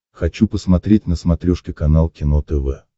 хочу посмотреть на смотрешке канал кино тв